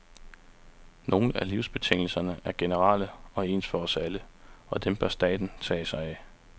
Nogle af livsbetingelserne er generelle og ens for os alle, og dem bør staten tage sig af.